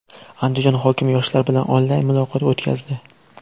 Andijon hokimi yoshlar bilan onlayn muloqot o‘tkazdi.